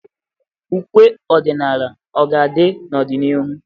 Ụkwe ọdịnala ọ ga-adị n'ọdịnihu?